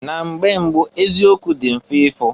Na mgbe mbụụ eziokwu dị mfe ifu.